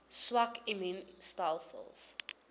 swak immuun stelsels